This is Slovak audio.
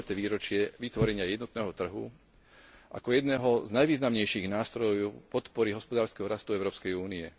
20. výročie vytvorenia jednotného trhu ako jedného z najvýznamnejších nástrojov podpory hospodárskeho rastu Európskej únie.